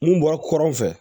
Mun bɔra kɔrɔn fɛ